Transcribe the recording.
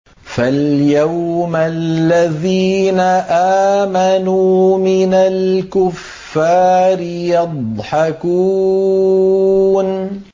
فَالْيَوْمَ الَّذِينَ آمَنُوا مِنَ الْكُفَّارِ يَضْحَكُونَ